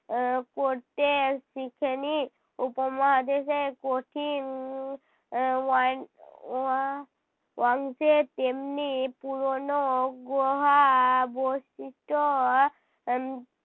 এর করতে শিখে নি। উপমহাদেশে কঠিন আহ ওয়ান ওয়া~ ওয়াংশে তেমনি পুরোনো গোহা বস্তিত উম